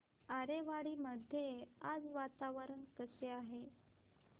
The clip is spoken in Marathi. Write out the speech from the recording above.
आरेवाडी मध्ये आज वातावरण कसे आहे